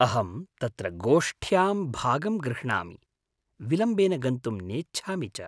अहं तत्र गोष्ठ्यां भागं गृह्णामि, विलम्बेन गन्तुं नेच्छामि च।